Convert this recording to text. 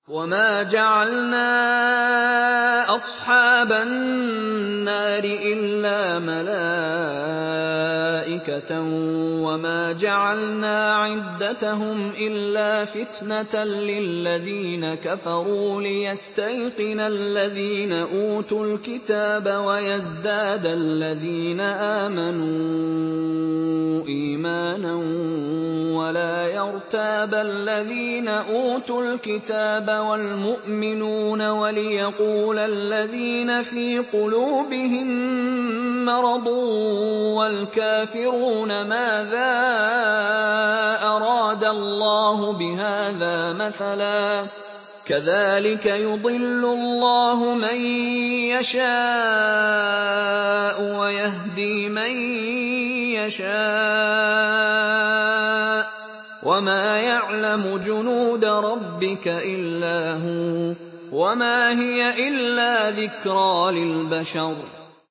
وَمَا جَعَلْنَا أَصْحَابَ النَّارِ إِلَّا مَلَائِكَةً ۙ وَمَا جَعَلْنَا عِدَّتَهُمْ إِلَّا فِتْنَةً لِّلَّذِينَ كَفَرُوا لِيَسْتَيْقِنَ الَّذِينَ أُوتُوا الْكِتَابَ وَيَزْدَادَ الَّذِينَ آمَنُوا إِيمَانًا ۙ وَلَا يَرْتَابَ الَّذِينَ أُوتُوا الْكِتَابَ وَالْمُؤْمِنُونَ ۙ وَلِيَقُولَ الَّذِينَ فِي قُلُوبِهِم مَّرَضٌ وَالْكَافِرُونَ مَاذَا أَرَادَ اللَّهُ بِهَٰذَا مَثَلًا ۚ كَذَٰلِكَ يُضِلُّ اللَّهُ مَن يَشَاءُ وَيَهْدِي مَن يَشَاءُ ۚ وَمَا يَعْلَمُ جُنُودَ رَبِّكَ إِلَّا هُوَ ۚ وَمَا هِيَ إِلَّا ذِكْرَىٰ لِلْبَشَرِ